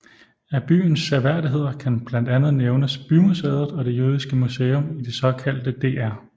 Af byens seværdigheder kan blandt andet nævnes bymuseet og det jødiske museum i det såkaldte Dr